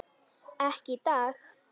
Ekki í dag.